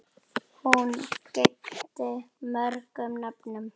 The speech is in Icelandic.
Hún gegndi mörgum nöfnum.